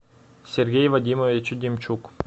сергей вадимович демчук